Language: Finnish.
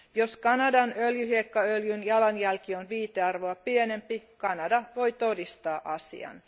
Jos Kanadan öljyhiekkaöljyn jalanjälki on viitearvoa pienempi, Kanada voi todistaa asian.